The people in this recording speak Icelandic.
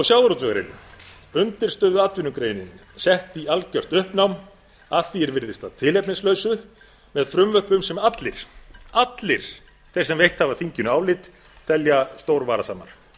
sjávarútvegurinn undirstöðuatvinnugreinin sett í algjört uppnám að því er virðist að tilefnislausu með frumvörpum sem allir allir þeir sem veitt hafa þinginu álit telja stór varasamar